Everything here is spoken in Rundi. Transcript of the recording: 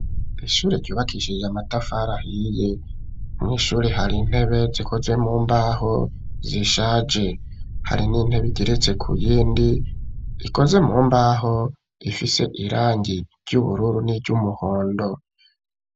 Ishure ryubakishije amatafari ahiye mw'ishure hari intebe zikoze mu mbaho zishaje hari n'intebe igeretse ku yindi ikoze mu mbaho ifise irangi ry'ubururu n'iryumuhondo.